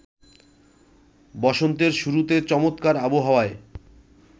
বসন্তের শুরুতে চমৎকার আবহাওয়ায়